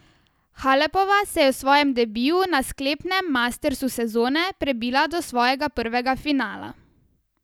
Halepova se je v svojem debiju na sklepnem mastersu sezone prebila do svojega prvega finala.